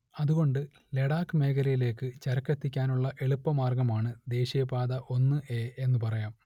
അതുകൊണ്ട് ലഡാക് മേഖലയിലേക്ക് ചരക്കെത്തിക്കാനുള്ള എളുപ്പമാർഗ്ഗമാണ് ദേശീയ പാത ഒന്ന് എ എന്നു പറയാം